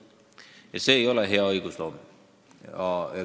Ja see ei ole hea õigusloome.